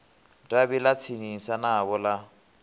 davhi ḽa tsinisa navho ḽa